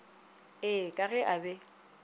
ee ka ge a be